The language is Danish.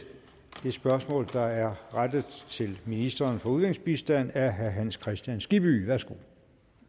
det spørgsmål der er rettet til ministeren for udviklingsbistand af herre hans kristian skibby værsgo